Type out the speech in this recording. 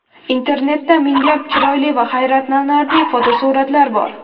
Internetda minglab chiroyli va hayratlanarli fotosuratlar bor.